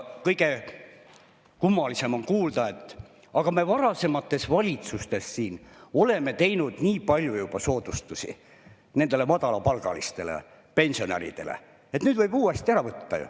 Kõige kummalisem on kuulda, et me varasemates valitsustes oleme juba teinud nii palju soodustusi madalapalgalistele ja pensionäridele, et nüüd võib ju uuesti ära võtta.